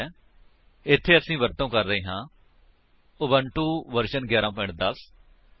Ubuntu version 11 10 OS Java development kit 1 6 ਅਤੇ Eclipse 3 7 0 ਇਸ tutorial ਲਈ ਤੁਹਾਨੂੰ ਗਿਆਨ ਹੋਣਾ ਚਾਹੀਦਾ ਹੈ